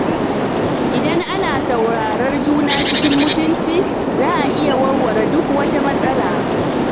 Idan ana saurarar juna cikin mutunci, za a iya warware duk wata matsala.